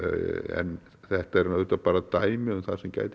en þetta eru auðvitað bara dæmi um það sem gæti